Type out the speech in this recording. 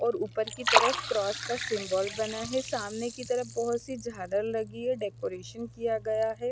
और उपर की तरस क्रोस का सिम्बोल बना है सामने की तरफ बोहोत सी जादर लगी है डेकोरेशन किया गया है।